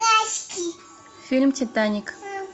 фильм титаник